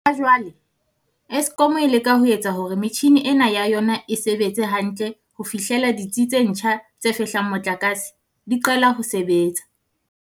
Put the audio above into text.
Ha jwale, Eskom e leka ho etsa hore metjhini ena ya yona e sebetse hantle ho fihlela ditsi tse ntjha tse fehlang motlakase di qala ho sebetsa.